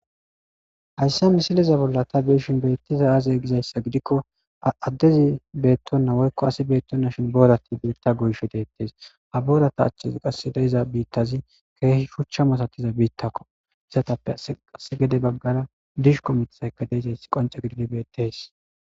Haysa misila bolla ta beyishn betizay aze gizaysa gidikon adezi betona woyko asi betonashn boorati biita goyshe detes, ha boorata achan qase de'za biitazi keeh shucha masatiza biitako , istappe qase gede bagara dishko mithayka de'izaysi qonce gidid beetesi.